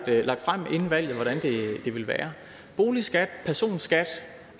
det er lagt frem inden valget hvordan det vil være boligskat og personskat